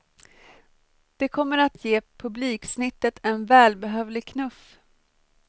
Det kommer att ge publiksnittet en välbehövlig knuff.